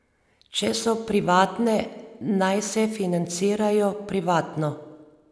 Če so privatne, naj se financirajo privatno!